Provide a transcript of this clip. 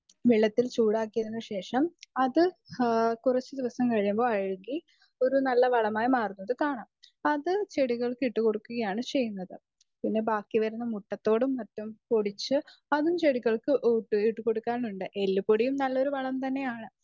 speaker 2 വെള്ളത്തിൽ ചൂടായാക്കിയതിന് ശേഷം അത് കുറച്ച് ദിവസം കഴിയുമ്പോൾ അഴകി ഒരു നല്ല വളമായി മാറുന്നത് കാണാം അത് ചെടികൾക്ക് ഇട്ടുകൊടുകയാണ് ചെയുന്നത് പിന്നെ ബാക്കി വരുന്ന മുട്ടത്തോടും മറ്റും പൊടിച്ച് അതും ചെടികൾക്ക് ഇട്ടുകൊടുക്കാറുണ്ട് എല്ലുപൊടിയും നല്ലൊരു വളം തന്നെയാണ്